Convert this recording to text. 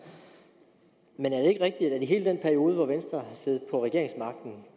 men er det ikke rigtigt at i hele den periode hvor venstre siddet på regeringsmagten